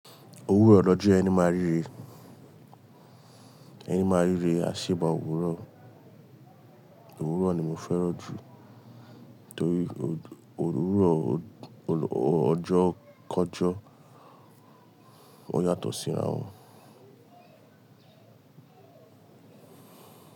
Òwúrọ̀ lọjọ́ ẹni ma ríre, ẹni ma ríre, a ṣèba òwúrọ̀. Òwúrọ̀ ni mo fẹ́ràn jù torí òwúrọ̀ ọjọ́ kọjọ́ ó yàtọ̀ síra wọn.